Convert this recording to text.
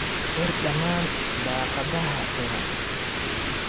Xir dhammaan daaqadaha furan.